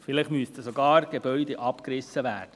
Vielleicht müssen sogar Gebäude abgerissen werden.